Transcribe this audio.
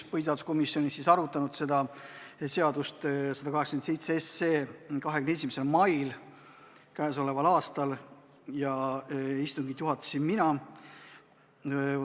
Põhiseaduskomisjonis me arutasime eelnõu 187 tänavu 21. mail ja istungit juhatasin mina.